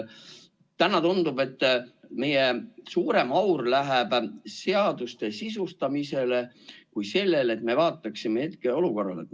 Täna tundub, et meie põhiaur läheb seaduste sisustamisele, mitte sellele, et me vaataksime hetkeolukorrale otsa.